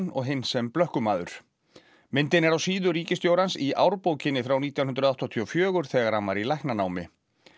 og hinn sem blökkumaður myndin er á síðu ríkisstjórans í frá nítján hundruð áttatíu og fjögur þegar hann var í læknanámi